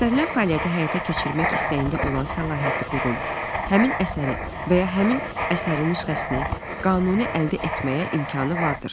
Göstərilən fəaliyyəti həyata keçirmək istəyində olan səlahiyyətli qurum həmin əsəri və ya həmin əsərin nüsxəsini qanuni əldə etməyə imkanı vardır.